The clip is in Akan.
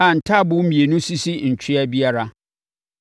a ntaaboo mmienu sisi ntwea biara.